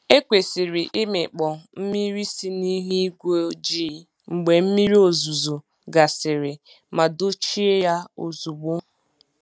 E kwesịrị ịmịkpọ mmiri si n’ihu ígwé ojii mgbe mmiri ozuzo gasịrị ma dochie ya ozugbo.